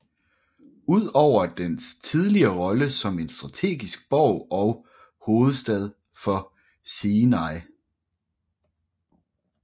Ud over dens tidligere rolle som en strategisk borg og hovedstad for Sinai